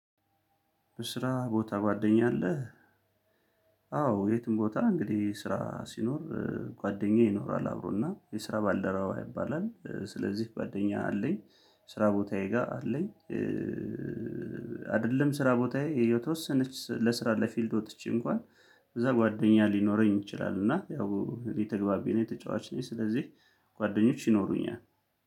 በስራ ቦታ ጓደኛ አለህ? አዎ የትም ቦታ እንግዲህ ስራ ሲኖር ጓደኛ ይኖራል አብሮና የስራ ባልደረባ ይባላል ስለዚህ ጓደኛ አለኝ። ስራ ቦታዬ ጋር አለኝ። አይደለም ስራ ቦታዬ የተወሰነች ለስራ ለፊልድ ወጥቼ እንኳን እዛ ጓደኛ ሊኖረኝ ይችላል። እና ያው የተግባቢ ነኝ ተጫዋች ነኝ ስለዚህ ጓደኞች ይኖሩኛል